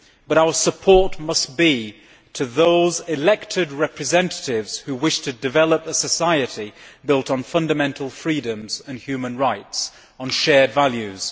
Our support must be for those elected representatives who wish to develop a society built on fundamental freedoms and human rights, on shared values.